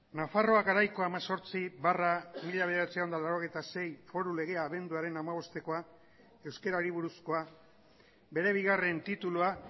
nafarroa garaiko hemezortzi barra mila bederatziehun eta laurogeita sei foru legea abenduaren hamabostekoa euskarari buruzkoa bere bigarren titulua